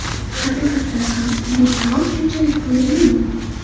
Haqiqatan ham bu taom shunchalik foydalimi?